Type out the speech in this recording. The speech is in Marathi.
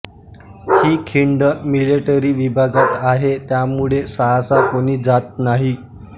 हि खिंड मिलिटरी विभागात आहे त्यामुळे सहसा कोणी जात नाही